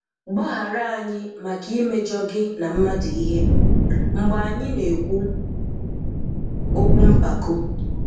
Gbaghárà anyị́ maka imejọ gị́ na mmádụ̀ íhè, mgbe anyị́ na-ekwu okwu mpáko.